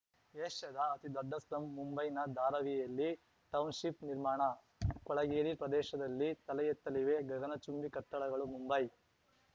ಏಷ್ಯಾದ ಅತಿದೊಡ್ಡ ಸ್ಲಂ ಮುಂಬೈನ ಧಾರಾವಿಯಲ್ಲಿ ಟೌನ್‌ಶಿಪ್‌ ನಿರ್ಮಾಣ ಕೊಳಗೇರಿ ಪ್ರದೇಶದಲ್ಲಿ ತಲೆ ಎತ್ತಲಿವೆ ಗಗನ ಚುಂಬಿ ಕಟ್ಟಡಗಳು ಮುಂಬೈ